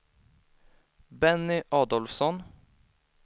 Benny Adolfsson